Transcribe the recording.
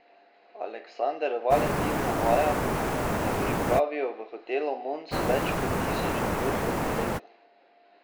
Aleksander Valentin navaja, da pripravijo v hotelu Mons več kot tisoč dogodkov na leto.